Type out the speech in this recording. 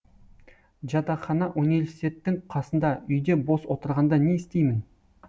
жатақхана университеттің қасында үйде бос отырғанда не істеймін